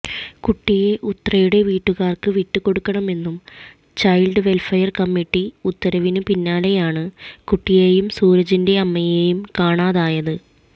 കുട്ടിയെ ഉത്രയുടെ വീട്ടുകാര്ക്ക് വിട്ടുകൊടുക്കണമെന്ന് ചൈല്ഡ് വെല്ഫയര് കമ്മിറ്റി ഉത്തരവിന് പിന്നാലെയാണ് കുട്ടിയെയും സൂരജിന്റെ അമ്മയെയും കാണാതായത്